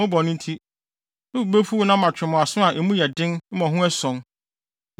mo bɔne nti, me bo befuw mo na matwe mo aso a emu yɛ den mmɔho ason.